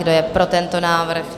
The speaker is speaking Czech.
Kdo je pro tento návrh?